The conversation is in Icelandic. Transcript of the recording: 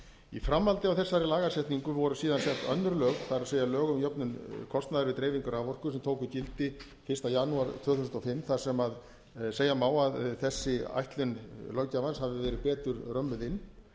í framhaldi af þessari lagasetningu voru síðan sett önnur lög það er lög um jöfnun kostnaðar við dreifingu raforku sem tóku gildi fyrsta janúar tvö þúsund og fimm þar sem segja má að þessi ætlun löggjafans hafi verið betur römmuð inn